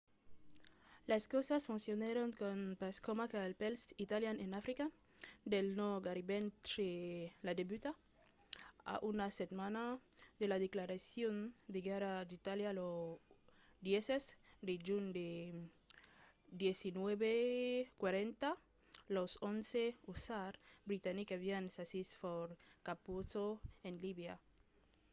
las causas foncionèron pas coma cal pels italians en africa del nòrd gaireben tre la debuta. a una setmana de la declaracion de guèrra d’itàlia lo 10 de junh de 1940 los 11th hussars britanics avián sasit fort capuzzo en libia